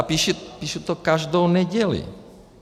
A píšu to každou neděli.